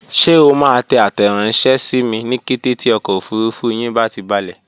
Ṣé o máa tẹ àtẹranṣẹ sími ní kété tí ọkọ̀ òfurufú yín bá ti balẹ̀?